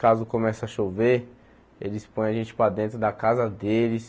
Caso comece a chover, eles põem a gente para dentro da casa deles.